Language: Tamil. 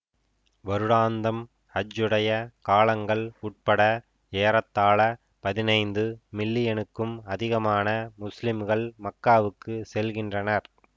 வருடாந்தம் ஹஜ்ஜுடைய காலங்கள் உட்பட ஏறத்தாழ பதினைந்து மில்லியனுக்கும் அதிகமான முஸ்லிம்கள் மக்காவுக்கு செல்கின்றனர்